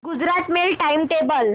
Gujarat mail time table